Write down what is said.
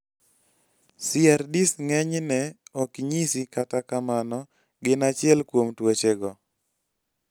CRDs ng'eny ne ok nyisi kata kamano gin achiel kuom tuoche go